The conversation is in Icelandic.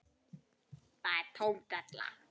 Það er tóm della.